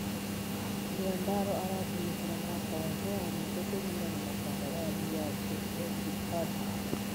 Nguandaro aratũmĩkĩra mwaka wake wa mũico kũringana na kandarathi yake Etihard .